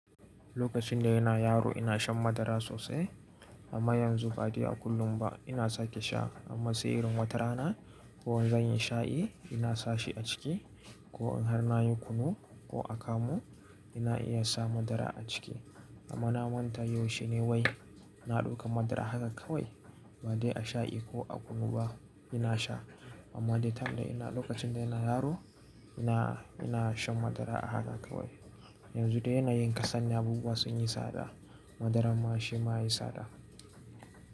Lokacin da ina yaro ina shan madara sosai amma yanzu ba dai a kullum ba. Ina sake sha amma se irin wata rana ko zan yi sha'i ina sa shi a ciki ko in har na yi kunu ko akamu ina iya sa madara a ciki. Amma na manta yaushe ne wai na ɗauka madara haka kawai ba dai a sha'i ko a kunu ba ina sha. Amma dai ta time da ina lokacin da ina yaro ina, ina shan madara a haka kawai. Yanzu dai ina yin kasani abubuwa sun yi tsada, madara ma shi ma ya yi tsada.